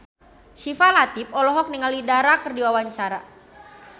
Syifa Latief olohok ningali Dara keur diwawancara